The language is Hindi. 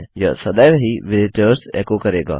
यह सदैव ही विजिटर्स एको करेगा